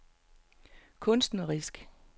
kunstnerisk